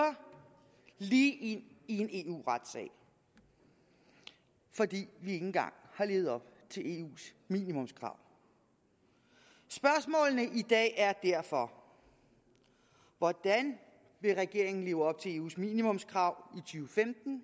lige ind i en eu retssag fordi vi ikke engang har levet op til eus minimumskrav spørgsmålene i dag er derfor hvordan vil regeringen leve op til eus minimumskrav